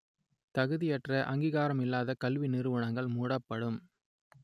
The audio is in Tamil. தகுதியற்ற அங்கீகாரம் இல்லாத கல்வி நிறுவனங்கள் மூடப்படும்